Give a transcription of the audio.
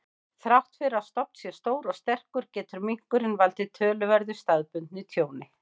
Þrátt fyrir að stofn sé stór og sterkur, getur minkurinn valdið töluverðu staðbundnu tjóni.